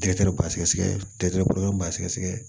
detɛri b'a sɛgɛsɛgɛ lɛ bɔlɔ b'a sɛgɛsɛgɛ